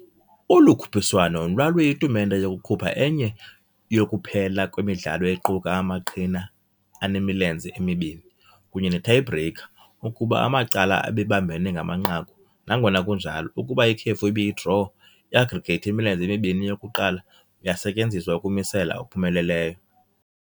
Olu khuphiswano lwaluyitumente yokukhupha enye yokuphela kwemidlalo equka amaqhina anemilenze emibini, kunye ne-Tie-Breaker ukuba amacala ebebambene ngamanqaku, nangona kunjalo, ukuba ikhefu ibiyi-draw, i-aggregate yemilenze emibini yokuqala yasetyenziswa ukumisela okuphumeleleyo.